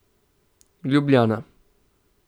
Ljubljana.